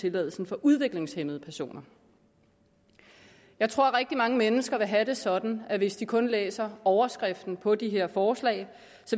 tilladelsen for udviklingshæmmede personer jeg tror at rigtig mange mennesker vil have det sådan at de hvis de kun læser overskriften på de her forslag